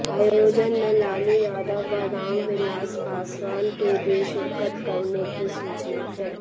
आयोजन में लालू यादव व राम विलास पासवान के भी शिरकत करने की सूचना है